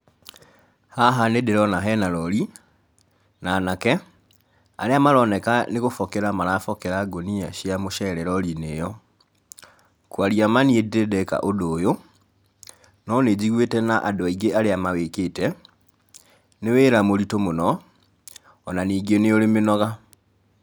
Haha nĩ ndĩrona hena rori, na anake, arĩa maroneka nĩ gũbokera marabokera ngũnia cia mũcere rori-inĩ ĩyo. Kũaria ma niĩ ndĩrĩ ndeka ũndũ ũyũ, no nĩ njĩguĩte na adũ aingĩ arĩa mawikĩte, nĩ wĩra mũritũ mũno, ona ningĩ nĩ ũri mĩnoga.